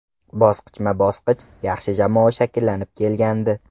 Bosqichma-bosqich yaxshi jamoa shakllanib kelgandi.